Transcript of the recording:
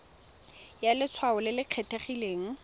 ya letshwao le le kgethegileng